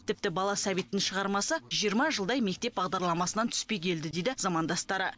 тіпті бала сәбиттің шығармасы жиырма жылдай мектеп бағдарламасынан түспей келді дейді замандастары